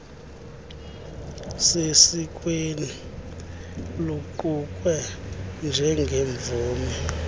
sesikweni luqukwe njengemvume